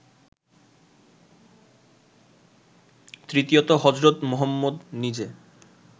তৃতীয়ত হজরত মুহম্মদ নিজে